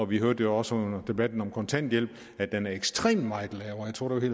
vi hørte jo også under debatten om kontanthjælp at den er ekstremt meget lavere jeg tror at det